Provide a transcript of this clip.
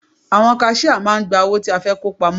Àwọn kaṣíá máà ń gba owó tí a fẹ́ kó pamọ́.